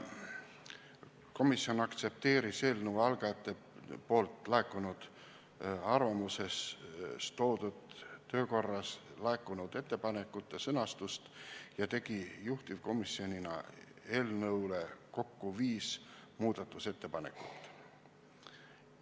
Komisjon aktsepteeris eelnõu algatajatelt laekunud arvamuses toodud töökorras laekunud ettepanekute sõnastust ja tegi juhtivkomisjonina eelnõule kokku viis muudatusettepanekut.